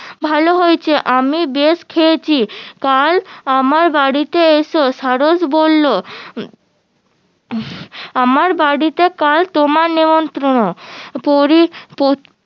ভালো হইসে আমি বেশ খেয়েছি কাল আমার বাড়িতে এসো সারস বললো আমার বাড়িতে কাল তোমার নিমন্ত্রন্ন